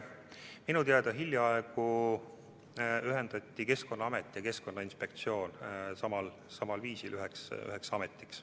Minu teada hiljaaegu ühendati Keskkonnaamet ja Keskkonnainspektsioon samal viisil üheks ametiks.